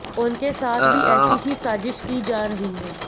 उनके साथ भी ऐसी ही साजिश की जा रही है